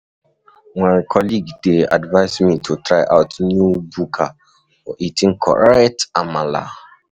My colleague dey advise me to try out new buka for eating correct amala.